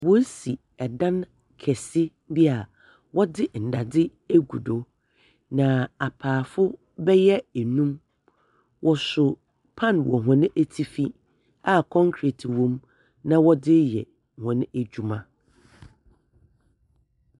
Wɔɔsi ɛdan kɛse bi a wɔdze ndadze agu do. Na apaafo bɛyɛ enum wɔso pan wɔ wɔn atifi a kɔnkret na wɔdze yɛ wɔn adwuma.